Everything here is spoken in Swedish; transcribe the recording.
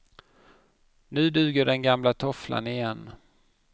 Nu duger den gamla tofflan igen.